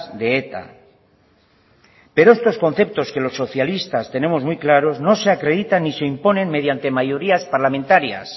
de eta pero estos conceptos que los socialistas tenemos muy claros no se acreditan ni se imponen mediante mayorías parlamentarias